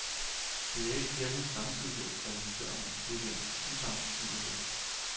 Det er ikke kirkens samtidighed, der interesserer mig, det er dens usamtidighed.